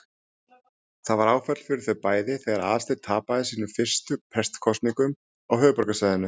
Það var áfall fyrir þau bæði þegar Aðalsteinn tapaði sínum fyrstu prestskosningum á höfuðborgarsvæðinu.